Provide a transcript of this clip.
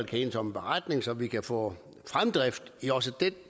kan enes om en beretning så vi kan få fremdrift i også det